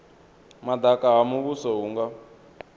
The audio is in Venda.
madaka ha muvhuso hu nga